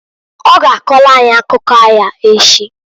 O ga akọlụ anyị akụ aya echi.